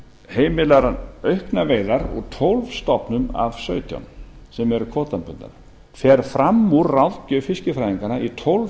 heimilar hann auknar veiðar úr tólf stofnum af sautján sem eru kvótabundnar fer fram úr ráðgjöf fiskifræðinganna í tólf